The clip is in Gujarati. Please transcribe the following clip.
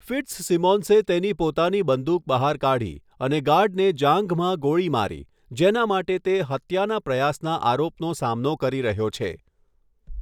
ફિટ્ઝસિમોન્સે તેની પોતાની બંદૂક બહાર કાઢી અને ગાર્ડને જાંઘમાં ગોળી મારી, જેના માટે તે હત્યાના પ્રયાસના આરોપનો સામનો કરી રહ્યો છે.